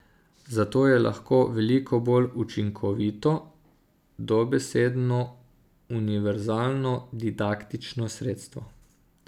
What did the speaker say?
Zato je lahko veliko bolj učinkovito, dobesedno univerzalno didaktično sredstvo.